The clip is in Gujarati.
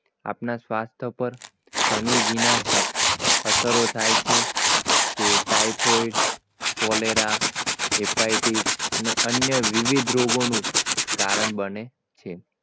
આપના સ્વાસ્થ્ય પર ઘણી વિનાશક અસરો થાય છે typhoid cholera hypothesis અને અન્ય વિવિધ રોગોનું કારણ બને છે